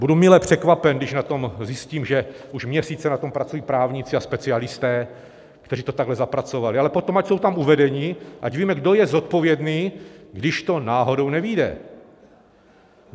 Budu mile překvapen, když na tom zjistím, že už měsíce na tom pracují právníci a specialisté, kteří to takhle zapracovali, ale potom ať jsou tam uvedeni, ať víme, kdo je zodpovědný, když to náhodou nevyjde.